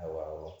Awɔ